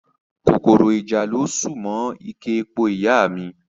Kòkòrò ìjàlọ ṣù mọ́ ike epo ìyá a mi